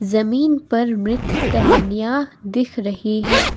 जमीन पर मृत टहनियां दिख रही है।